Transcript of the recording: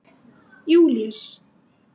Júlíus